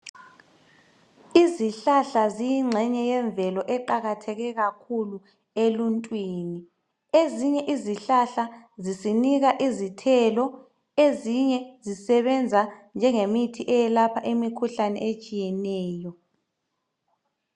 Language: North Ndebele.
Izihlahla yinxenye yemvelo eqakatheke kakhulu eluntwini ezinye izihlahla zisinika izithelo ezinye zisebenza njengemithi eyelapha imikhuhlane tshiyeneyo.